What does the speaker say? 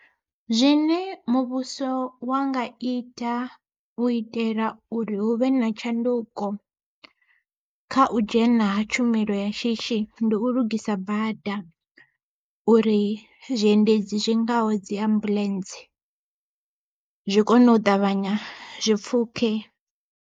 Zwine muvhuso wa nga ita u itela uri hu vhe na tshanduko, kha u dzhena ha tshumelo ya shishi ndi u lungisa bada. Uri zwiendedzi zwingaho dzi ambuḽentse zwi kone u ṱavhanya zwi pfhuke.